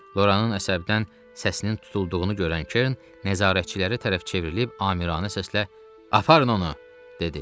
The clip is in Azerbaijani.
Loranın əsəbdən səsinin tutulduğunu görən Kern nəzarətçilərə tərəf çevrilib amiranə səslə, aparın onu, dedi.